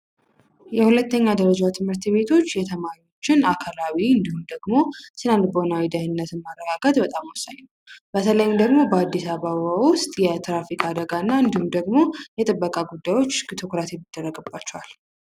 የሁለተኛ ደረጃ ትምህርት ቤቶች የተማሪዎችን አካላዊ እንዲሁም ደግሞ ስነ ልቦናዊ ደህንነትን በጣም በተለይ ደግሞ በአዲስ አበባ ውስጥ የትራፊክ አደጋና እንዲሁም ደግሞ የተጠበቀ ጉዳዮች የሚደረግባቸዋል